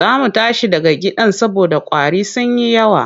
Za mu tashi daga gidan saboda ƙwari sun yi yawa.